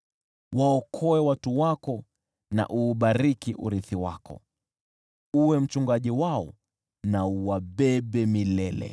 Waokoe watu wako na uubariki urithi wako; uwe mchungaji wao na uwabebe milele.